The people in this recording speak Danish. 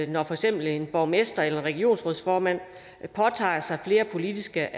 når for eksempel en borgmester eller regionsrådsformand påtager sig flere politiske